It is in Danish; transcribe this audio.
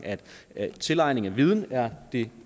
at tilegnelse af viden er det